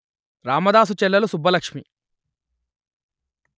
రామదాసు చెల్లెలు సుబ్బలక్ష్మి